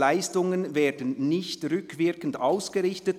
«Leistungen werden nicht rückwirkend ausgerichtet».